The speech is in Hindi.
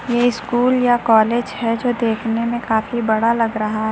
ये स्कूल या कॉलेज है जो देखने में काफी बड़ा लग रहा--